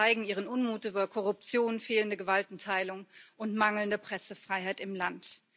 Sie zeigen ihren Unmut über Korruption, fehlende Gewaltenteilung und mangelnde Pressefreiheit im Land.